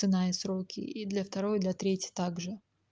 цена и сроки и для второй для третьей также